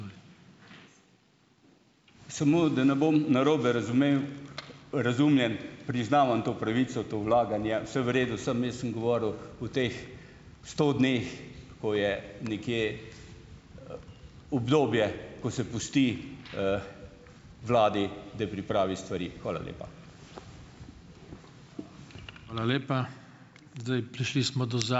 Samo da ne bom narobe razumel, razumljen - priznavam to pravico, to vlaganje. Vse v redu. Samo jaz sem govoril o teh sto dneh, ko je nekje obdobje, ko se pusti vladi, da pripravi stvari. Hvala lepa.